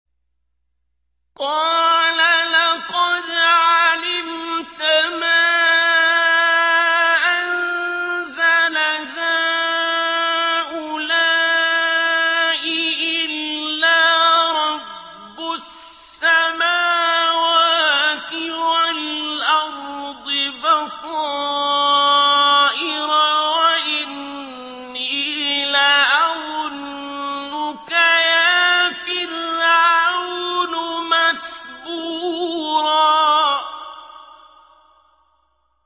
قَالَ لَقَدْ عَلِمْتَ مَا أَنزَلَ هَٰؤُلَاءِ إِلَّا رَبُّ السَّمَاوَاتِ وَالْأَرْضِ بَصَائِرَ وَإِنِّي لَأَظُنُّكَ يَا فِرْعَوْنُ مَثْبُورًا